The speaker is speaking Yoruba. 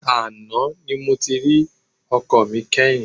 Àná ni mo ti rí ọkọ mi kẹ́yìn.